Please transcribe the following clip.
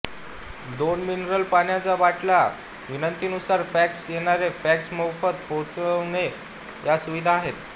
दोन मिनरल पाण्याच्या बाटल्या विनंतिंनुसार फॅक्स येणारे फॅक्स मोफत पोहचवणे या सुविधा आहेत